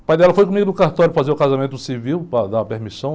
O pai dela foi comigo do cartório fazer o casamento civil, para dar permissão.